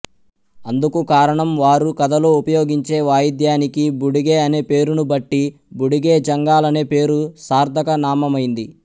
అందుకు కారణం వారు కథలో ఉపయోగించే వాయిద్యానికి బుడిగె అనేపేరును బట్టి బుడిగె జంగాలనే పేరు సార్థక నామమైంది